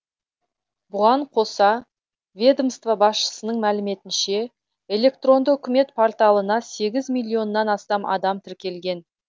бұған қоса ведомство басшысының мәліметінше электронды үкімет порталына сегіз миллионнан астам адам тіркелген